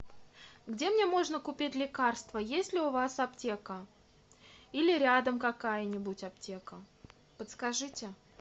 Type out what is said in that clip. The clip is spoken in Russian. где мне можно купить лекарства есть ли у вас аптека или рядом какая нибудь аптека подскажите